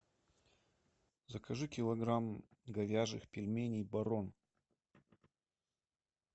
закажи килограмм говяжьих пельменей барон